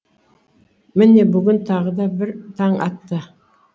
міне бүгін тағы да бір таң атты